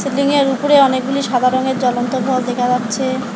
Shilling -এর উপরে অনেকগুলি সাদা রঙের জলন্ত ভল দেখা যাচ্ছে-এ।